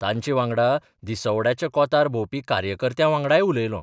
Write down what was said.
तांचे वांगडा दिसवड्याच्या कोंतार भोंवपी कार्यकर्त्यां 'वांगडाय उलयलों.